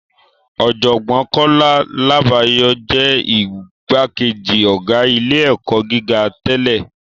Ọ̀jọ̀gbọ́n Kọ́lá Làbáyọ̀ jẹ́ igbákejì ọ̀gá ilé-ẹ̀kọ́ gíga tẹ́lẹ̀